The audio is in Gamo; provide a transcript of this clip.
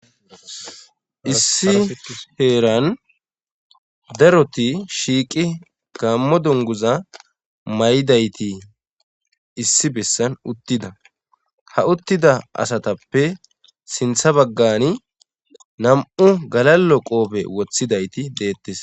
issi heeran daroti shiiqi gammo donguza may7idayti issi bessan uttida ha uttida asatappe sintha baggani nam7u galallo qoofe wothidayti deettes